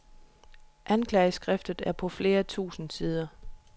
Anklageskriftet er på flere tusind sider.